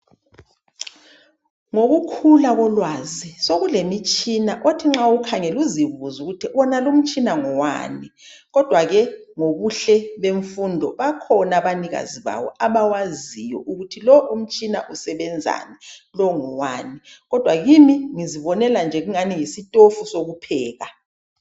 Ngokukhula kolwazi sekulomitshina othi nxa uwukhangele uzibuze ukuthi wonalo umtshina ngowani kodwa ke ngobuhle bemfundo bakhona abanikazi bawo abawaziyo ukuthi lo umtshina usebenzani lo ngowani . Kodwa kimi ngizibonela nje kungani yisitofu sokupheka.